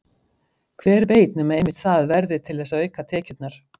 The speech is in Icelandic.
Hver veit nema einmitt það verði til þess að auka tekjurnar?